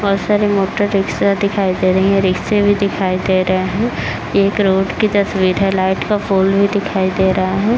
बोहोत सारे motor rickshaw दिखाई दे रही है। रिक्शे भी दिखाई दे रहे है। ये एक रोड की तस्वीर है। लाइट का पोल भी दिखाई दे रहा है।